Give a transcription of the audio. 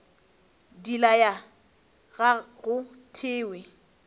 di laya ga go thewe